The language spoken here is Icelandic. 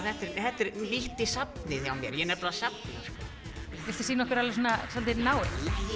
þetta er þetta er nýtt í safnið hjá mér ég nefnilega safna sko viltu sýna okkur alveg svona svolítið náið